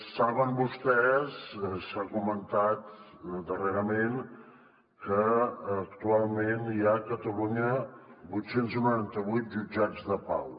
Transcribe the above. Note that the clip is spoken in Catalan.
saben vostès s’ha comentat darrerament que actualment hi ha a catalunya vuit cents i noranta vuit jutjats de pau